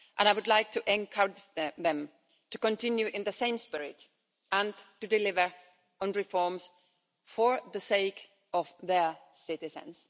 I would like to encourage them to continue in the same spirit and to deliver on reforms for the sake of their citizens.